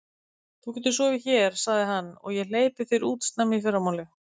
Þú getur sofið hér sagði hann, og ég hleypi þér út snemma í fyrramálið.